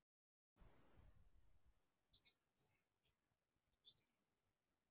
Það var Skafti Sigurjónsson, verkstjórinn í vinnunni.